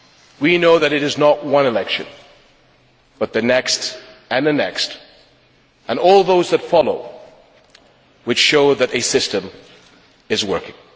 We know that it is not one election but the next and the next and all those that follow which show that a system is working.